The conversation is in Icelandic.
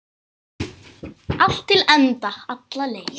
Allt til enda, alla leið.